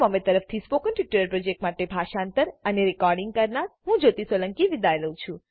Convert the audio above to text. તરફથી spoken tutorial project માટે ભાષાંતર કરનાર હું જ્યોતી સોલંકી વિદાય લઉં છું